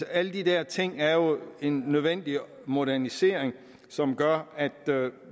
alle de der ting er jo en nødvendig modernisering som gør at